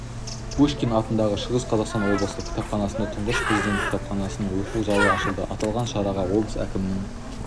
пушкин атындағы шығыс қазақстан облыстық кітапханасында тұңғыш президент кітапханасының оқу залы ашылды аталған шараға облыс әкімінің